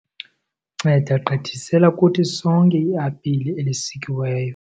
Nceda gqithisela kuthi sonke iapile elisikiweyo.